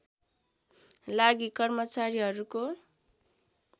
लागि कर्मचारीहरूको